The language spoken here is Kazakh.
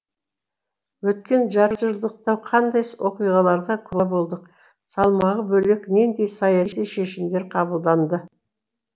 өткен жартыжылдықта қандай оқиғаларға куә болдық салмағы бөлек нендей саяси шешімдер қабылданды